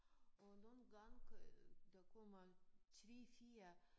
Og nogle gange der kommer 3 4